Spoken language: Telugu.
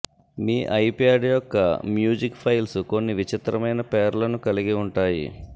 మీ ఐప్యాడ్ యొక్క మ్యూజిక్ ఫైల్స్ కొన్ని విచిత్రమైన పేర్లను కలిగి ఉంటాయి